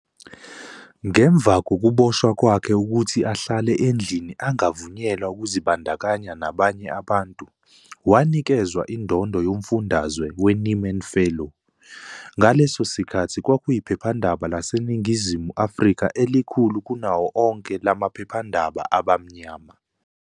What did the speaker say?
Ngemva kokuboshwa kwakhe ukuthi ahlale endlini angavunyelwa ukuzibandakanya nabanye abantu, wanikezwa indondo yomfundazwe weNieman Fellow. Ngaleso sikhathi kwakuyiphephandaba laseNingizimu Afrika elikhulu kunawo onke la maphephendaba abamnyama.